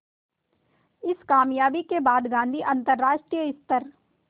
इस क़ामयाबी के बाद गांधी अंतरराष्ट्रीय स्तर